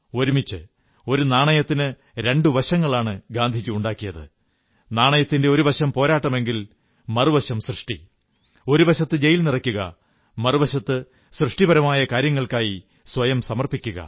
ഒരുമിച്ച് ഒരു നാണയത്തിന് രണ്ടു വശങ്ങളാണ് ഗാന്ധിജി ഉണ്ടാക്കിയത് നാണയത്തിന്റെ ഒരു വശം പോരാട്ടമെങ്കിൽ മറുവശം സൃഷ്ടി ഒരു വശത്ത് ജയിൽ നിറയ്ക്കുക മറുവശത്ത് സൃഷ്ടിപരമായ കാര്യങ്ങൾക്കായി സ്വയം സമർപ്പിക്കുക